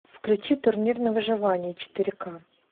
включи турнир на выживание четыре к